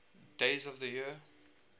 days of the year